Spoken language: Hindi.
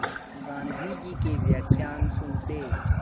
गाँधी जी के व्याख्यान सुनते